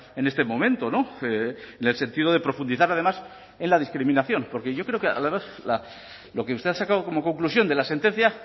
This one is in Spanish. en este momento en el sentido de profundizar además en la discriminación porque yo creo que lo que usted ha sacado como conclusión de la sentencia